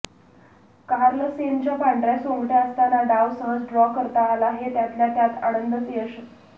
कार्लसेनच्या पांढऱ्या सोंगट्या असताना डाव सहज ड्रॉ करता आला हे त्यातल्या त्यात आनंदचं यश